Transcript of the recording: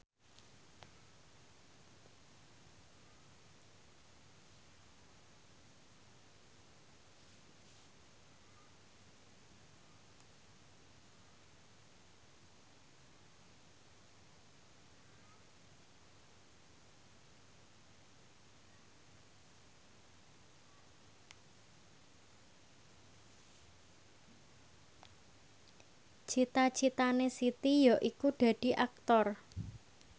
cita citane Siti yaiku dadi Aktor